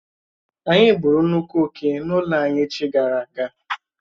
Ányi gbụ́ru nnukwu oké n'ụlọ anyị echi gara aga